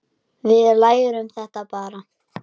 Við lærum þetta bara.